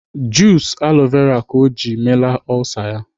Jus aloe vera ka ọ ji meela olsa ya.